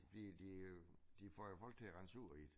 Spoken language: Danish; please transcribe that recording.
Fordi de øh de får jo folk til at rende sur i det